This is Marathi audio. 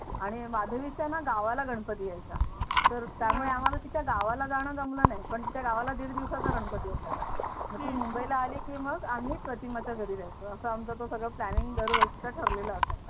आणि माधवीच्या ना गावाला गणपती यायचा तर त्यामुळे तिच्या गावाला आम्हाला जाणं जमलं नाही पण तिच्या गावाला दीड दिवसाचा गणपती असायचा तर ती मुंबईला आली की मग आम्ही प्रतिमा च्या घरी जायचं असा तो सगळं आमचा planning दरवर्षीचा ठरलेला असायचा.